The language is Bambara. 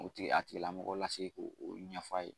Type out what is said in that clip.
O tigi a tigi la mɔgɔ lasigi ko olu ɲɛf'a ye.